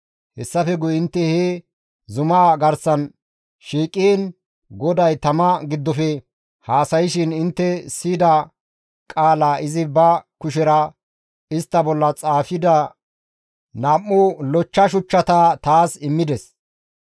Hessafe guye intte he zumaa garsan shiiqiin GODAY tama giddofe haasayshin intte siyida qaala izi ba kushera istta bolla xaafida nam7u lochcha shuchchata taas immides.